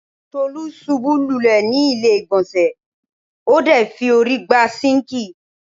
Tolú ṣubú lulẹ̀ ni ilé-ìgbọ̀nsẹ̀ ,o de fi órí gbá sinkii.